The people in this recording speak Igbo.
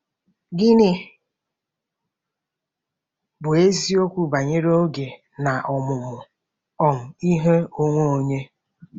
Gịnị bụ eziokwu banyere oge na ọmụmụ um ihe onwe onye?